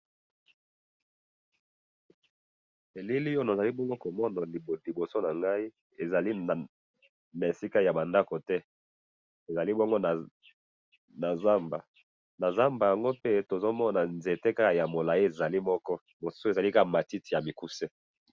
Elili oyo nazalikomona liboso nangayi, ezali na esika yabandako te, ezali nazamba, nazamba yango pe tozomona nzete ka yamolayi ezali moko, mosusu ezali kaka matiti yamikuse